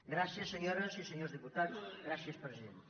gràcies senyores i senyors diputats gràcies presidenta